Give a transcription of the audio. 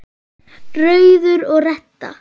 Rauður og Redda